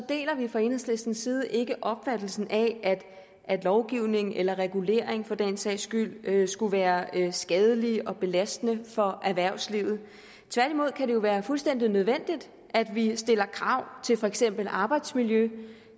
deler vi fra enhedslistens side ikke opfattelsen af at lovgivningen eller reguleringen for den sags skyld skulle være skadelig og belastende for erhvervslivet tværtimod kan det jo være fuldstændig nødvendigt at vi stiller krav til for eksempel arbejdsmiljø